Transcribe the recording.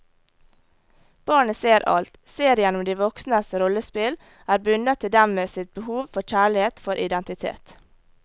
Barnet ser alt, ser igjennom de voksnes rollespill, er bundet til dem med sitt behov for kjærlighet, for identitet.